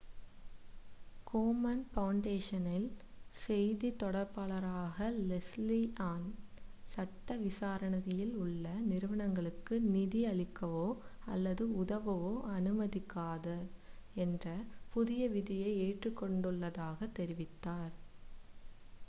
கோமன் ஃபவுண்டேஷனின் செய்தித் தொடர்பாளரான லெஸ்லீ ஆன் சட்ட விசாரணையில் உள்ள நிறுவனங்களுக்கு நிதி அளிக்கவோ அல்லது உதவவோ அனுமதிக்காது என்ற புதிய விதியை ஏற்றுக் கொண்டுள்ளதாகத் தெரிவித்தார்